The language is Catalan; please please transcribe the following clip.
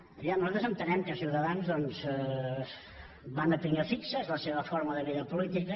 a veure nosaltres entenem que ciutadans doncs van a pinyó fix és la seva forma de vida política